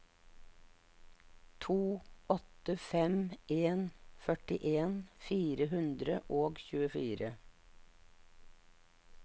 to åtte fem en førtien fire hundre og tjuefire